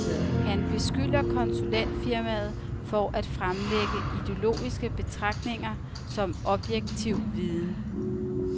Han beskylder konsulentfirmaet for at fremlægge ideologiske betragtninger som objektiv viden.